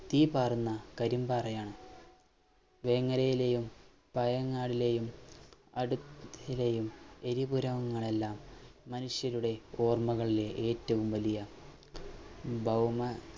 തീ പാറുന്ന കരിംപാറയാണ് ജനങ്ങളുടെയും പയങ്ങാടിയിലെയും അടു എരിപുരങ്ങളെല്ലാം മനുഷ്യരുടെ ഓർമകളിലെ ഏറ്റവും വലിയ ഭൗമ